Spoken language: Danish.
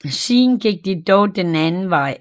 Siden gik det dog den anden vej